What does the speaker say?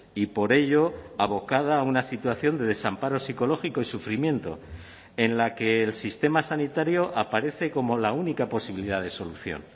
y por ello abocada a una situación de desamparo psicológico y sufrimiento en la que el sistema sanitario aparece como la única posibilidad de solución